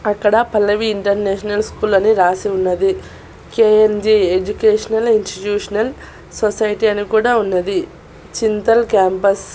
అక్కడ Pallavi international school అని రాసి ఉన్నది కె_ఎం_జే ఎడ్యుకేషనల్ ఇన్స్టిట్యూషనల్ సొసైటీ అని కూడా ఉన్నది చింతల్ క్యాంపస్ .